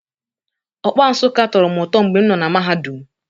Okpa Nsukka tọrọ m ụtọ mgbe m nọ na mahadum